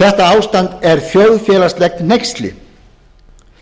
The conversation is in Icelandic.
þetta ástand er þjóðfélagslegt hneyksli